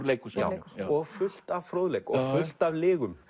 leikhúsinu og fullt af fróðleik og fullt af lygum